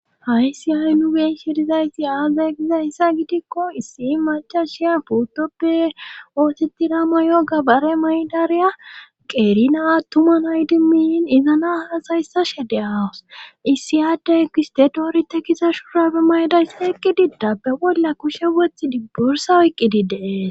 Aysiyay nu biin shirizaysti aaza kizayssa gidikko issi macashiya puttoppe ootitira ma yoga bare maydariya qeerina attuman hay dimmiin izana hasayssa shede awus issiyaade ekistedoorite kiza shuurabe maydays eqqididdabbe bolla kushe woth dibbursa oyqqidi dees.